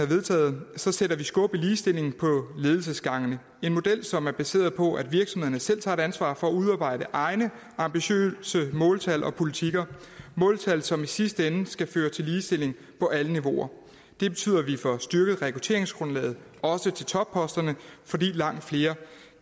vedtaget sætter vi skub i ligestillingen på ledelsesgangene det en model som er baseret på at virksomhederne selv tager et ansvar for at udarbejde egne ambitiøse måltal og politikker måltal som i sidste ende skal føre til ligestilling på alle niveauer det betyder at vi får styrket rekrutteringsgrundlaget også til topposterne fordi langt flere